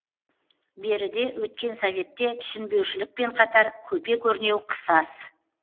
беріде өткен советте түсінбеушілікпен қатар көпе көрнеу қысас